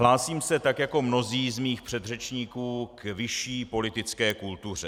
Hlásím se, tak jako mnozí z mých předřečníků, k vyšší politické kultuře.